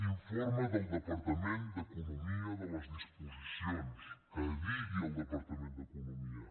informe del departament d’economia de les disposicions que digui el departament d’economia